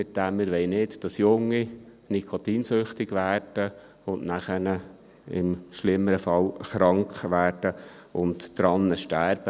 Wir wollen nicht, dass Junge nikotinsüchtig, danach im schlimmeren Fall krank werden und daran sterben.